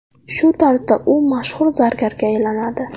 Shu tarzda u mashhur zargarga aylanadi.